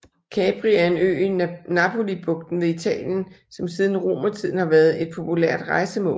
Capri er en ø i Napolibugten ved Italien som siden romertiden har været et populært rejsemål